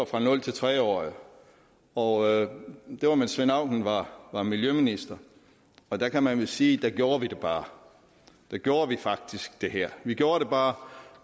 for nul tre årige og det var mens svend auken var var miljøminister og der kan man vist sige at der gjorde vi det bare der gjorde vi faktisk det her vi gjorde det bare